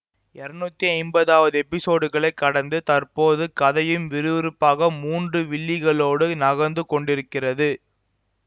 இருநூத்தி ஐம்பதாவது எப்பிசோடுகளை கடந்து தற்போது கதையும் விறுவிறுப்பாக மூன்று வில்லிகளோடு நகர்ந்து கொண்டிருக்கிறது